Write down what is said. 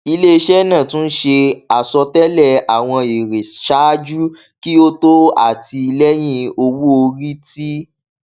ileiṣẹ naa tun ṣe asọtẹlẹ awọn ere ṣaaju ki o to ati lẹhin owoori ti